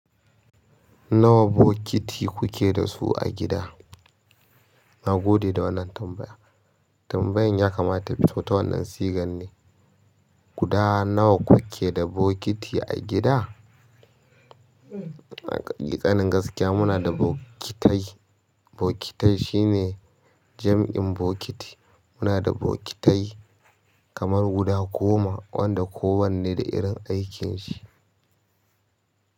Nawa bokiti kuke da su a gida? Na gode da wannan tambaya. Tambayan ya kamata ta fi, ta wannan sigan ne. Guda nawa kuke da bokiti a gida? Sanin gaskiya muna da bokitai. Bokitai shine jam'in bokiti. Muna da bokitai kamar guda goma wanda kowanne da irin aikin shi.